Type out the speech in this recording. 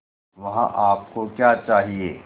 वहाँ आप को क्या चाहिए